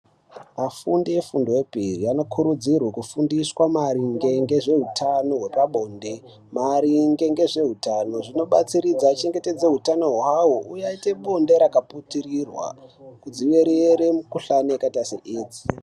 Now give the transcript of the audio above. Afundi efundo yepiri anokurudzirwe kufundiswa maringe ngezveutano hwepabonde, maringe ngezveutano zvinobatsiridza kuchengetedze utano hwawo uye aite bonde rakaputirirwa kudzivirire mukuhlani yakaita seidzi.